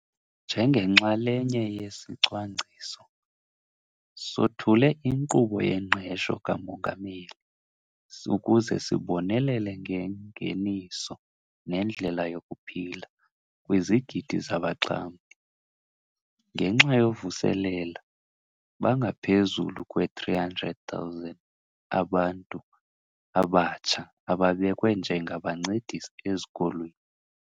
Njengenxalenye yesicwangciso, sothule iNkqubo yeNgqesho kaMongameli ukuze sibonelele ngengeniso nendlela yokuphila kwizigidi zabaxhamli. Ngenxa yovuselela, bangaphezulu kwe-300 000 abantu abatsha ababekwe njengabancedisi ezikolweni.